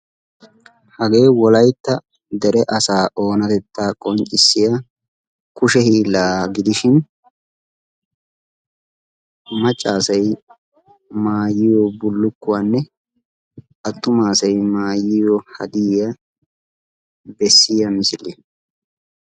Hagee wolaytta deree asaa oonatetta qonccissiyaga gidishin dere asaa hanotta qonccissiya misiliya.